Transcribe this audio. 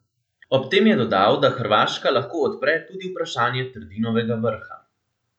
Ob tem je dodal, da Hrvaška lahko odpre tudi vprašanje Trdinovega vrha.